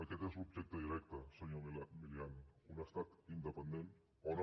aquest és l’objecte directe senyor milián un estat independent o no